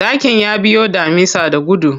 Zakin ya biyo damisa da gudu.